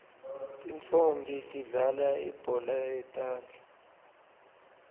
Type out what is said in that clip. tintfonmbi tidlalal ibhola yetandla